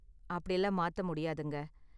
அப்படிலாம் மாத்த முடியாதுங்க.